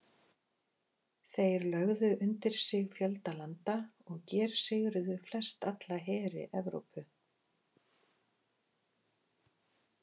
Þeir lögðu undir sig fjölda landa og gersigruðu flestalla heri Evrópu.